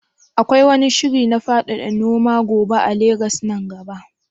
Akwai wani shiri na faɗaɗa noman goba a Legas nan gaba?